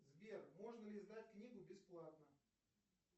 сбер можно ли сдать книгу бесплатно